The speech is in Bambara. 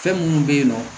Fɛn minnu bɛ yen nɔ